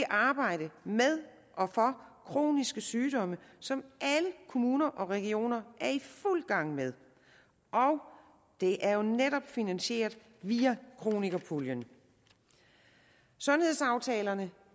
arbejde med kroniske sygdomme som alle kommuner og regioner er i fuld gang med og det er jo netop finansieret via kronikerpuljen sundhedsaftalerne